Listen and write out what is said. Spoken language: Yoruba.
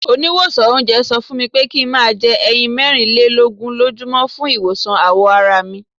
Oníwòsàn oúnjẹ sọ fúnmi pé kí n máa jẹ ẹyin mẹ́rin lé lógún lójú mọ́ fún ìwòsàn àwọ̀ arami.